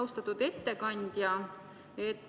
Austatud ettekandja!